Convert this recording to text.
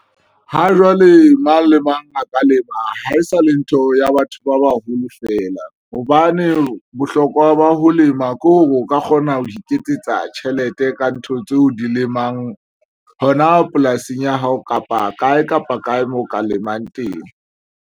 Ha jwale mang le mang a ka lema ha e sa le ntho ya batho ba baholo fela hobane bohlokwa ba ho lema ke hore o ka kgona ho iketsetsa tjhelete ka ntho tse o di lemang hona polasing ya hao kapa kae kapa kae mo ka lemang teng.